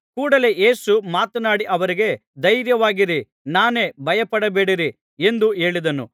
ಕೂಡಲೆ ಯೇಸು ಮಾತನಾಡಿ ಅವರಿಗೆ ಧೈರ್ಯವಾಗಿರಿ ನಾನೇ ಭಯಪಡಬೇಡಿರಿ ಎಂದು ಹೇಳಿದನು